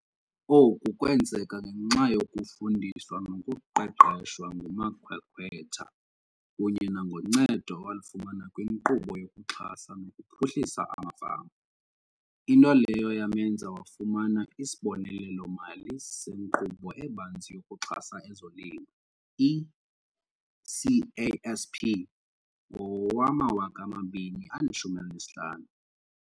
Oku kwenzeka ngenxa yokufundiswa nokuqeqeshwa ngumakhwekhwetha kunye nangoncedo awalifumana kwiNkqubo yokuXhasa nokuPhuhlisa amaFama, into leyo yamenza wafumana isibonelelo-mali seNkqubo eBanzi yokuXhasa ezoLimo, i-CASP, ngowama-2015.